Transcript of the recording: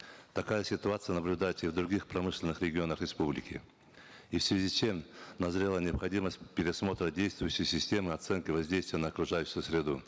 такая ситуация наблюдается и в других промышленных регионах республики и в связи с чем назрела необходимость пересмотра действующей системы оценки воздействия на окружающую среду